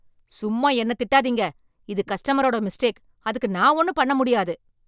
சும்மா என்ன திட்டாதீங்க. இது கஸ்டமர்ரோட மிஸ்டேக். அதுக்கு நான் ஒன்னும் பண்ண முடியாது.